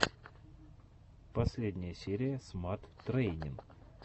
последняя серия смат трэйнин